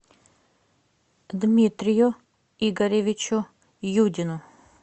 дмитрию игоревичу юдину